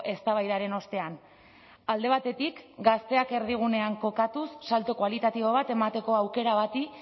eztabaidaren ostean alde batetik gazteak erdigunean kokatuz salto kualitatibo bat emateko aukera bati